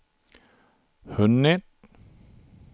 hunnit